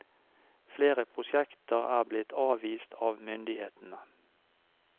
Flere prosjekter er blitt avvist av myndighetene.